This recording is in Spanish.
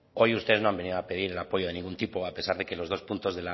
hoy ustedes no han venido a pedir el apoyo de ninguno tipo a pesar de que los dos puntos